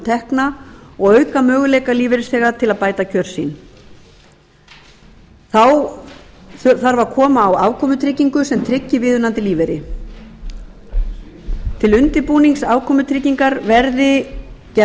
tekna og auka möguleika lífeyrisþega til að bæta kjör sín þá þarf að koma á afkomutryggingu sem tryggi viðunandi lífeyri til undirbúnings afkomutryggingar verði gerð